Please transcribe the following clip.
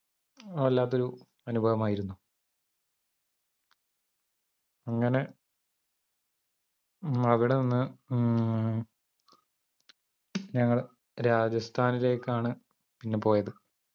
വല്ലാത്തൊരു അനുഭവമായിരുന്നു അങ്ങനെ മ്മ അവിടെ നിന്ന് മ്മ് ഞങ്ങൾ രാജസ്ഥാനിലേക്കാണ് പിന്നെ പോയത്